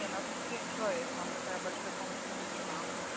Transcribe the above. не нас четыре человека нам такая большая комната не нужна